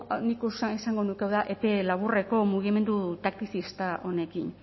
nik esango nuke hau da epe laburreko mugimendu taktizista honekin